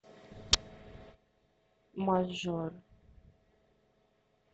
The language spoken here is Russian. мажор